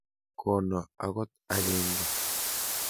Kono akot agenge.